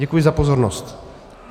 Děkuji za pozornost.